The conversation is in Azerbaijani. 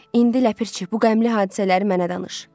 İndi ləpirçi, bu qəmli hadisələri mənə danış."